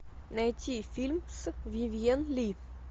найти фильм с вивьен ли